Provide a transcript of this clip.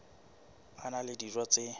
a na le dijo tse